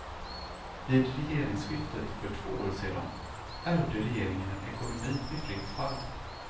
Vid regeringsskiftet för två år sedan ärvde regeringen en ekonomi i fritt fall.